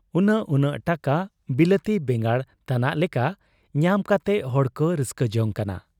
ᱩᱱᱟᱹᱜ ᱩᱱᱟᱹᱜ ᱴᱟᱠᱟ ᱵᱤᱞᱟᱹᱛᱤ ᱵᱮᱸᱜᱟᱲ ᱛᱟᱱᱟᱜ ᱞᱮᱠᱟ ᱧᱟᱢ ᱠᱟᱛᱮ ᱦᱚᱲᱠᱚ ᱨᱟᱹᱥᱠᱟᱹ ᱡᱚᱝ ᱠᱟᱱᱟ ᱾